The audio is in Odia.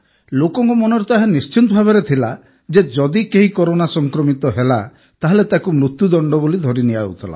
ଲୋକଙ୍କ ମନରେ ତ ଏହା ନିଶ୍ଚିତ ଭାବେ ରହିଥିଲା ଯେ ଯଦି କେହି କରୋନା ସଂକ୍ରମିତ ହେଲା ତାହେଲେ ତାହାକୁ ମୃତ୍ୟୁଦଣ୍ଡ ବୋଲି ଧରି ନିଆଯାଉଥିଲା